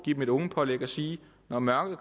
give dem et ungepålæg og sige når mørket